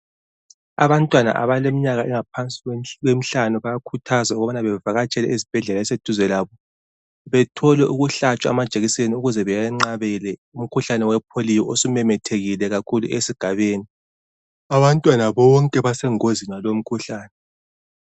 Abantwana abaleminyaka angaphansi kwemihlanu bayakhuthazwa ukuba bavakatshele ezibhendlela eziseduze labo. Bathole ukuhlantshwa amajekisenu ukuze beyeqabele umkhuhlane wepolio osumemethekile kakhulu esigabeni. Abantwana bonke basegozini ngalomkhuhlane.